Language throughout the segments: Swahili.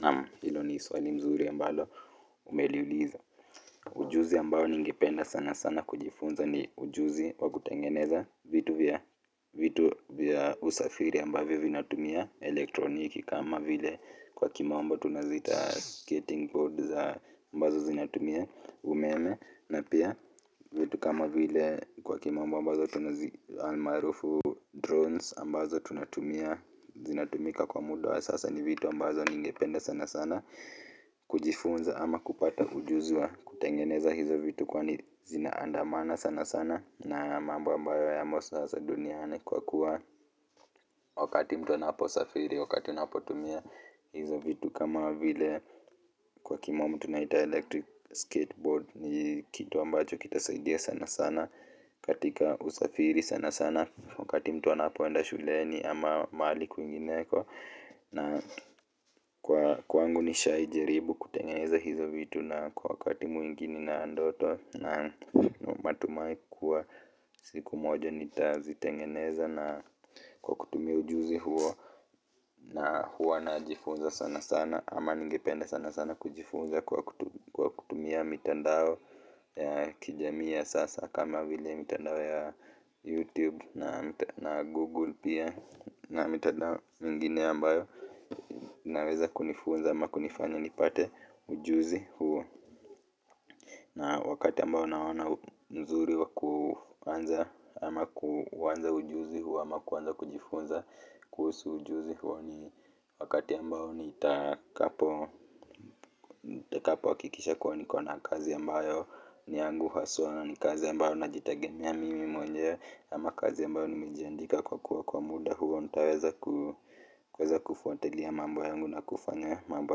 Naam hilo ni swali mzuri ambalo umeliuliza ujuzi ambao ningependa sana sana kujifunza ni ujuzi wa kutengeneza vitu vya vitu vya usafiri ambavyo vinatumia elektroniki kama vile kwa kimombo tunaziita skating boards za ambazo zinatumia umeme na pia vitu kama vile kwa kimombo ambazo tunazi almaarufu drones ambazo tunatumia. Zinatumika kwa muda sasa ni vitu ambazo ningependa sana sana kujifunza ama kupata ujuzi wa kutengeneza hizo vitu kwani zina andamana sana sana na mambo ambayo yamo sasa duniani kwa kuwa wakati mtu anaposafiri, wakati unapotumia hizo vitu kama vile kwa kimombo tunaita electric skateboard ni kitu ambacho kitasaidia sana sana katika usafiri sana sana wakati mtu anapoenda shuleni ama mahali kwingineko na kwa kwangu nishai jaribu kutengeneza hizo vitu na kwa wakati mwingi nina ndoto na matumai kuwa siku moja nitazitengeneza na kwa kukutumia ujuzi huo na huwa najifunza sana sana ama ningepende sana sana kujifunza kwa kutu kwa kutumia mitandao ya kijamii ya sasa kama vile mitandao ya youtube na na google pia na mitandao mingine ambayo naweza kunifunza ama kunifanya nipate ujuzi huo na wakati ambao naona mzuri wa kuanza ama kuuanza ujuzi huo ama kuanza kujifunza kuhusu ujuzi huo ni wakati ambao nitakapo nitakapo hakikisha kuwa nikona kazi ambayo ni yangu haswaa na ni kazi ambayo najitegemea mimi mwenyewe ama kazi ambayo nimejiandika kwa kuwa kwa muda huo nitaweza ku weza kufuatilia mambo yangu na kufanya mambo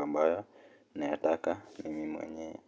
ambayo nayataka mimi mwenyewe.